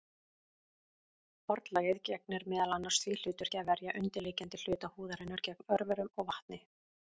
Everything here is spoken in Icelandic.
Hornlagið gegnir meðal annars því hlutverki að verja undirliggjandi hluta húðarinnar gegn örverum og vatni.